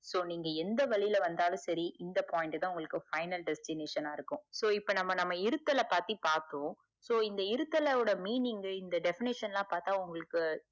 so நீங்க எந்த வழில வந்தாலும் செரிஇந்த point தான் final destination இருக்கும so இப்ப நம்ம நம்ம இருதல பத்தி பாத்தோம் so இருத்தல் ஓட meaning இந்த defenition லா பாத்தா உங்களுக்கு